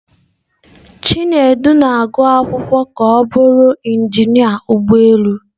Chinedu na-agụ akwụkwọ ka ọ bụrụ injinia ụgbọ elu.